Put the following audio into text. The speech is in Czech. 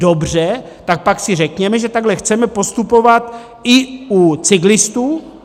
Dobře, tak pak si řekněme, že takhle chceme postupovat i u cyklistů.